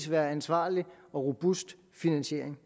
være ansvarlig og robust finansiering